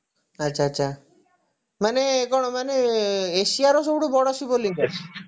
ଆଛା ଆଛା ମାନେ କଣ ମାନେ Asiaର ସବୁଠୁ ବଡ ଶିବଲିଙ୍ଗ